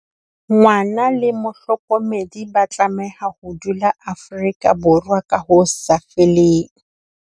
Ngwana le mohlokomedi ba tlameha ho dula Afrika Borwa ka ho sa feleng.